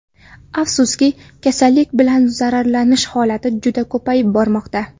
Afsuski, kasallik bilan zararlanish holati juda ko‘payib bormoqda.